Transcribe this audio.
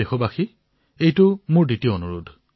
দেশবাসীসকললৈ মোৰ দ্বিতীয়টো অনুৰোধ